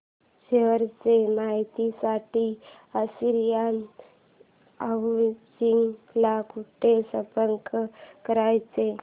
share च्या माहिती साठी आशियाना हाऊसिंग ला कुठे संपर्क करायचा